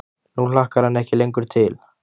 Nú hlakkar hann ekki lengur til.